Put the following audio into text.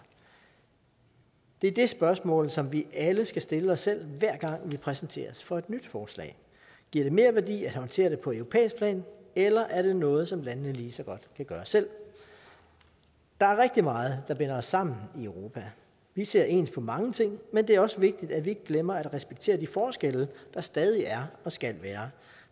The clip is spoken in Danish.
det er det spørgsmål som vi alle skal stille os selv hver gang vi præsenteres for et nyt forslag giver det merværdi at håndtere det på europæisk plan eller er det noget som landene lige så godt kan gøre selv der er rigtig meget der binder os sammen i europa vi ser ens på mange ting men det er også vigtigt at vi ikke glemmer at respektere de forskelle der stadig er og skal være